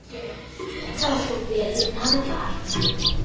Það fór vel um hann þar.